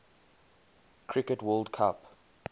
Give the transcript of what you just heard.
cricket world cup